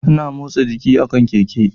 Ana motsa jiki a kan Keke